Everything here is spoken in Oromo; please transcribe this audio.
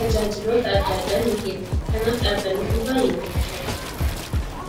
tajaajiloota adda addaa ni kenna. Kanaaf dhaabanni kun baay'ee namatti tola!